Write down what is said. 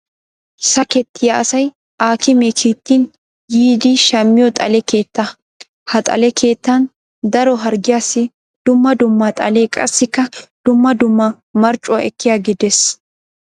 Sakettiya asay aakimee kiittin yiiddi shammiyo xale keettaa. Ha xale keettan daro harggiyaassi dumma dumma xalee qassikka dumma dumma marccuwa ekkiyage des.